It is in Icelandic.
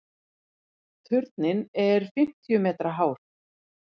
Turninn er fimmtíu metra hár.